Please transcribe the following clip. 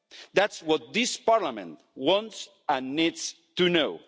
That's what this Parliament wants and needs to know.